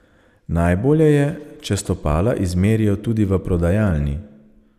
Najbolje je, če stopala izmerijo tudi v prodajalni.